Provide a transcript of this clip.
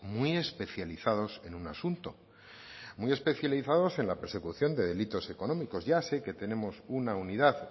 muy especializados en un asunto muy especializados en la persecución de delitos económicos ya sé que tenemos una unidad